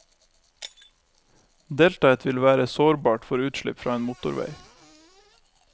Deltaet vil være sårbart for utslipp fra en motorvei.